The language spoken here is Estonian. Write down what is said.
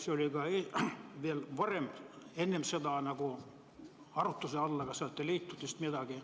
See oli ka varem arutluse all, aga ei leitud vist midagi.